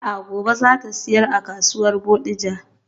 A'a gobe zata siyar a kasuwar Bodija.